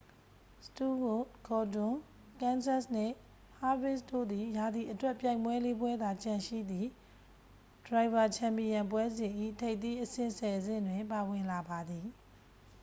စတူးဝပ် ဂေါ်ဒွန် ကန်းစက်သ် နှင့် ဟားဗစ်ခ် တို့သည် ရာသီအတွက် ပြိုင်ပွဲလေး ပွဲသာကျန်ရှိသည့် ဒရိုင်ဗာ ချန်ပီယံပွဲစဉ် ၏ ထိပ်သီးအဆင့် ဆယ် ဆင့်တွင် ပါဝင်လာပါသည်